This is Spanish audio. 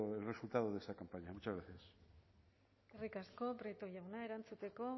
el resultado de esta campaña muchas gracias eskerrik asko prieto jauna erantzuteko